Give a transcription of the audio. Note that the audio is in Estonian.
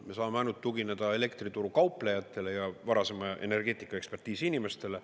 Me saame ainult tugineda elektrituru kauplejatele ja varasema energeetikaekspertiisi inimestele.